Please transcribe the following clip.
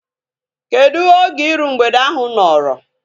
Kedụ oge iru mgbede ahu nọrọ?